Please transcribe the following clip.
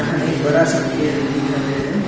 यह एक बड़ा सा पेड़ भी दिखाई पड़ रहा है।